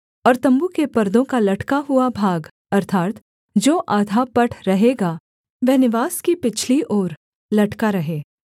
और तम्बू के परदों का लटका हुआ भाग अर्थात् जो आधा पट रहेगा वह निवास की पिछली ओर लटका रहे